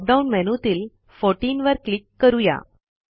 drop down मेनूतील 14 वर click करू या